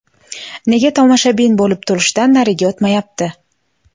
Nega tomoshabin bo‘lib turishdan nariga o‘tmayapti?